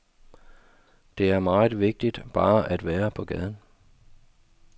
Det er meget vigtigt bare at være på gaden.